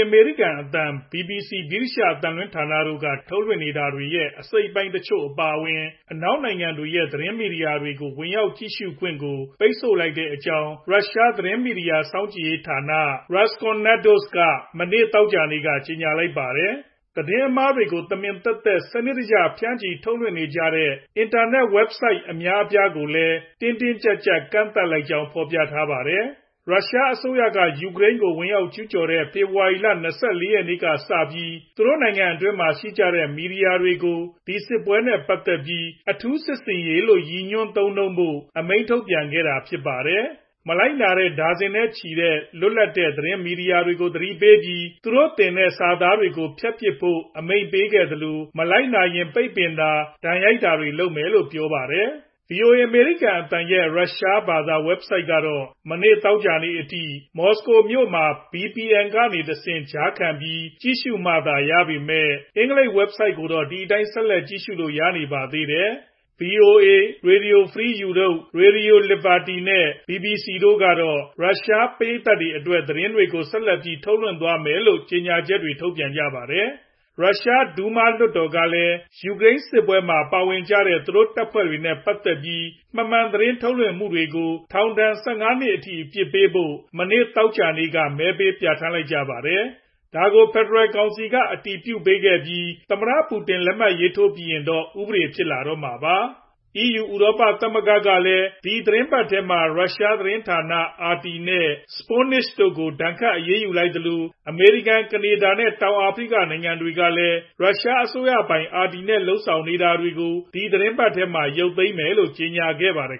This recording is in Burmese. အမေရိကန်အသံ၊ BBC ဗြိတိသျှအသံလွှင့်ဌာန တို့ က ထုတ်လွှင့်နေတာတွေရဲ့ အစိတ်အပိုင်းတချို့ အပါအဝင် အနောက်နိုင်ငံတွေရဲ့ သတင်းမီဒီယာတွေကို ဝင်ရောက်ကြည့်ရှု့ခွင့်ကို ပိတ်ပင်လိုက်ကြောင်း ရုရှား သတင်းမီဒီယာစောင့်ကြည့်ရေးဌာန Roskomnadzor က မနေ့ သောကြာနေ့က ကြေညာလိုက်ပါတယ်။ သတင်းအမှားတွေကို တမင်သက်သက် စနစ်တကျဖြန့်ချီထုတ်လွှင့်နေကြတဲ့ အင်တာနက်ဆိုဒ် အများအပြားကို တင်းတင်းကြပ်ကြပ် ကန့်သတ်လိုက်ကြောင်း လည်း ဖော်ပြထားပါတယ်။ ရုရှားအစိုးရက ယူကရိန်းကို ဝင်ရောက်ကျူးကျော်တဲ ဖေဖေါ်ဝါရီလ ၂၄ ရက်နေ့ကစပြီး သူနိုင်ငံအတွင်းမှာရှိကြတဲ့ မီဒီယာတွေကို ဒီစစ်ပွဲနဲ့ ပတ်သက်ပြီး အထူးစစ်ဆင်ရေးလို့ ရည်ညွှန်း သုံးနှုန်းဖို့ အမိန်ထုတ်ပြန်ခဲ့တာဖြစ်ပါတယ်။ မလိုက်နာတဲ့ ဒါဇင်နဲ့ချီတဲ့ လွတ်လပ်တဲ့သတင်းမီဒီယာတွေကို သတိပေးပြီး သူတို့တင်ထားတဲ့စာသားတွေကို ဖျက်ပစ်ဖို့အမိန့်ပေးခဲ့သလို မလိုက်နာရင် ပိတ်ပင်တာ ဒဏ်ရိုက်တာတွေလုပ်မယ်လို့ပြောပါတယ်။ VOA အမေရိကန်အသံ ရဲ့ ရုရှားဘာသာ Website ကတော့ မနေ့ သောကြာနေ့အထိ မော်စကိုမြို့မှာ VPN ကနေတဆင့် ကြားခံပြီး ကြည့်ရှုမှသာရပေမယ့် အင်္ဂလိပ် Website ကိုတော့ ဒီအတိုင်းဆက်လက်ကြည့်လို့ရရှိနေပါသေးတယ်။ VOA ၊ RFE/RL နဲ့ BBC တို့ကတော့ ရုရှား ပရိတ်သတ်တွေအတွက် သတင်းတွေကို ဆက်လက်ပြီး ထုတ်လွင့်သွားမယ်လို့ ကြေညာချက်ထုတ်ပြန်ခဲ့ပါတယ်။ ရရှား Duma လွှတ်တော်ကလည်း ယူကရိန်စစ်ပွဲမှာ ပါဝင်နေကြတဲ့ သူတို့တပ်ဖွဲ့တွေနဲ့ပတ်သက်ပြီး မမှန်သတင်းထုတ်လွှင့်ဖော်ပြမှုတွေကို ထောင်ဒဏ် ၁၅ နှစ်အထိ အပြစ်ပေးဖို့ မနေ့ သောကြာနေ့က မဲပေးပြဌာန်းလိုက်ပါတယ်။ ဒါကို ဖယ်ဒရယ်ကောင်စီက အတည်ပြုပေးခဲ့ပြီး သမ္မတပူတင် လက်မှတ်ထိုးပြီးရင်တော့ ဥပဒေဖြစ်လာတော့မှာပါ။ EU ဥရောပသမဂ္ဂ ကလည်း ဒီသီတင်းပတ်ထဲမှာ ရုရှားသတင်းဌာန RT နဲ့ Sputnik တို့ကို ဒဏ်ခတ်အရေးယူလိုက်သလို အမေရိကန်၊ ကနေဒါ နဲ့ တောင်အာဖရိကနိုင်ငံတွေကလည်း ရုရှားအစိုးရပိုင် RT နဲ့ လုပ်ဆောင်နေတာတွေကို ဒီသတင်းပတ်ထဲမှာ ရုတ်သိမ်းမယ်လို့ ကြေညာခဲ့ကြပါတယ်